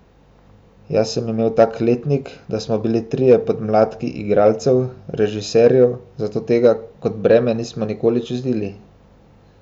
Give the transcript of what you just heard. Jaz sem imel tak letnik, da smo bili trije podmladki igralcev, režiserjev, zato tega kot breme nisem nikoli čutil.